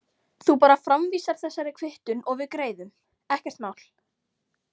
Þú bara framvísar þessari kvittun og við greiðum, ekkert mál.